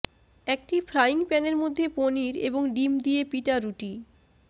একটি ফ্রাইং প্যানের মধ্যে পনির এবং ডিম দিয়ে পিটা রুটি